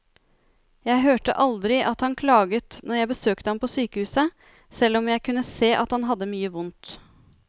Jeg hørte aldri at han klaget når jeg besøkte ham på sykehuset, selv om jeg kunne se at han hadde mye vondt.